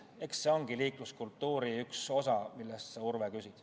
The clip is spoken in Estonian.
Eks see ongi liikluskultuuri üks osa, mille kohta sa, Urve, äsja küsisid.